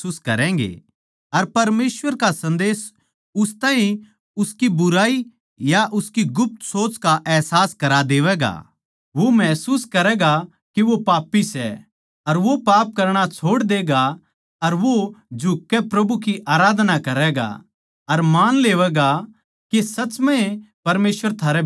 अर परमेसवर का संदेस उस ताहीं उसकी बुराई या उसकी गुप्त सोच का अहसास करां देवैगा वो महसूस करैगा के वो पापी सै अर वो पाप करणा छोड़ देगा अर वो झुककै प्रभु की आराधना करैगा अर मान लेवैगा के सच म्ह ए परमेसवर थारै बिचाळै सै